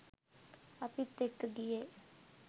අපිත් එක්ක ගියේ